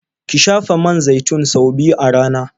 Ki shafa man zaitin sau biyu a rana.